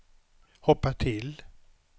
hoppa till